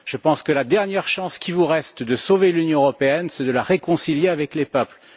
Je pense que la dernière chance qu'il vous reste de sauver l'Union européenne, c'est de la réconcilier avec les peuples.